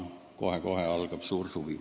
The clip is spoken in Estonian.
Kohe-kohe algab ju suur suvi.